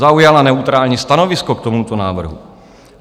Zaujala neutrální stanovisko k tomuto návrhu.